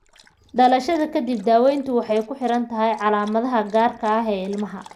Dhalashada ka dib, daaweyntu waxay ku xiran tahay calaamadaha gaarka ah ee ilmaha.